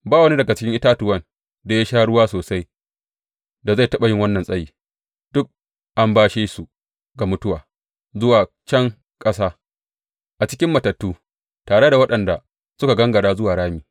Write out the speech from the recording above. Ba wani daga cikin itatuwan da ya sha ruwa sosai da zai taɓa yi wannan tsayi; duk an bashe su ga mutuwa, zuwa can ƙasa, a cikin matattu, tare da waɗanda suka gangara zuwa rami.